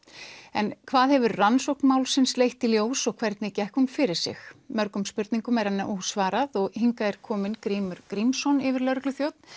en hvað hefur rannsókn málsins leitt í ljós og hvernig gekk hún fyrir sig mörgum spurningum er enn ósvarað og hingað er kominn Grímur Grímsson yfirlögregluþjónn